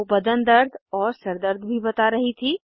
वो बदन दर्द और सर दर्द भी बता रही थी